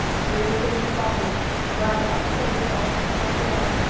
ਫਿਰ ਉਸਤੋਂ ਤੁਸੀਂ ਭਾਵੇਂ, by bus ਚਲੇ ਜਾਓ ਮਥੁਰਾ।